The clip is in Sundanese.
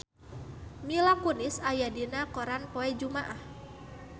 Mila Kunis aya dina koran poe Jumaah